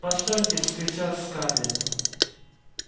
постойте вскричала скарлетт